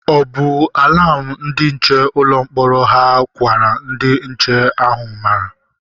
O bu alam ndi nche ụlọ mkpọrọ hà gwara ndị nche ahụ mara?